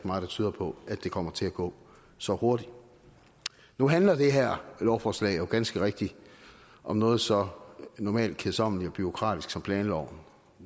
meget der tyder på at det kommer til at gå så hurtigt nu handler det her lovforslag jo ganske rigtigt om noget så normalt kedsommeligt og bureaukratisk som planloven